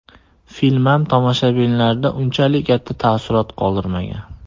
Film ham tomoshabinlarda unchalik katta taassurot qoldirmagan.